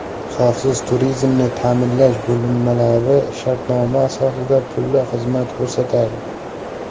Xavfsiz turizmni ta’minlash bo‘linmalari shartnoma asosida pulli xizmat ko‘rsatadi.